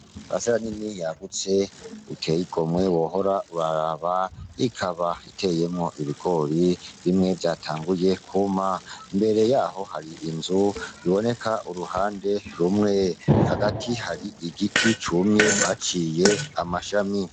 Parisera nini yagutse iteye igomwe wohora uraraba ikaba iteyemwo ibigori bimwe vyatanguye kuma imbere yaho hari inzu iboneka uruhande rumwe hagati hari igiti cumye baciye amashami.